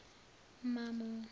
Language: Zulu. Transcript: mamo